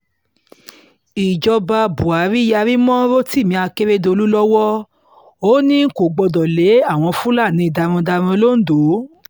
ìjọba buhari yarí mọ́ rotimi akérèdọ́lù lọ́wọ́ ò ní ò ní kò gbọdọ̀ lé àwọn fúlàní darandaran londo